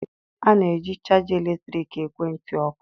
A na-eji chaja eletrik ekwentị ọkụ.